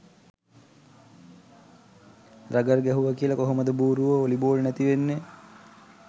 Rugger ගැහුව කියල කොහොමද බූරුවො වොලි බෝල් නැති වෙන්නෙ.